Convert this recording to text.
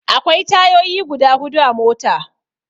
Akwai tayoyi guda hudu a mota.